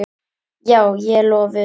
Já, ég er lofuð.